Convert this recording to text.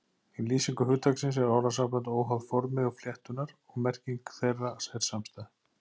Í lýsingu hugtaksins eru orðasamböndin óháð formi flettunnar og merking þeirra er samstæð.